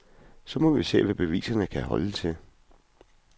Så må vi se, hvad beviserne kan holde til.